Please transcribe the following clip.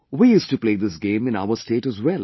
We used to play this game in our state as well